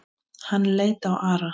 Þér er ekki alls varnað.